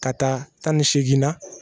Ka taa tan ni segin na